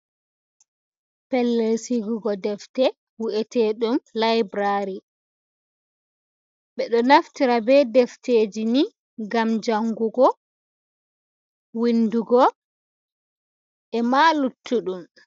Pellel sigugo defte wu’eteɗum laburari, ɓe ɗo naftira be defteji ni ngam jangugo, windugo, e ma luttuɗum.